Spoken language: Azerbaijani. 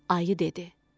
Ayı dedi: